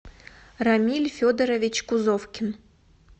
рамиль федорович кузовкин